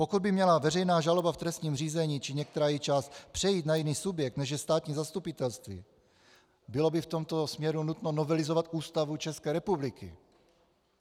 Pokud by měla veřejná žaloba v trestním řízení či některá její část přejít na jiný subjekt, než je státní zastupitelství, bylo by v tomto směru nutno novelizovat Ústavu České republiky.